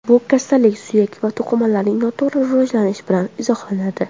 Bu kasallik suyak va to‘qimalarning noto‘g‘ri rivojlanishi bilan izohlanadi.